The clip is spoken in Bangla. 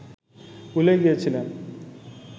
ভুলেই গিয়েছিলেন